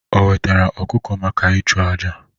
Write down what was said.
O wetara ọkụkọ maka ịchụ àjà?